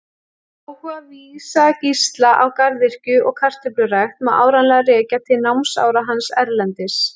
Áhuga Vísa-Gísla á garðyrkju og kartöflurækt má áreiðanlega rekja til námsára hans erlendis.